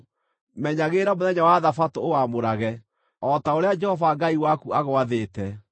“Menyagĩrĩra mũthenya wa Thabatũ ũwamũrage, o ta ũrĩa Jehova Ngai waku agwathĩte.